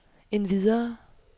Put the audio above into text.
endvidere